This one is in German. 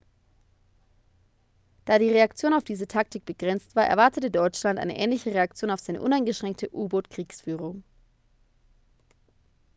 da die reaktion auf diese taktik begrenzt war erwartete deutschland eine ähnliche reaktion auf seine uneingeschränkte u-boot-kriegsführung